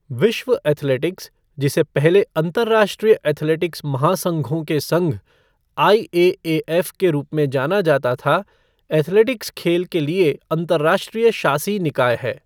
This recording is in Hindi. विश्व एथलेटिक्स, जिसे पहले अंतर्राष्ट्रीय एथलेटिक्स महासंघों के संघ, आईएएएफ़ के रूप में जाना जाता था, एथलेटिक्स के खेल के लिए अंतर्राष्ट्रीय शासी निकाय है।